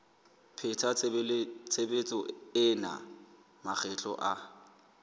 pheta tshebetso ena makgetlo a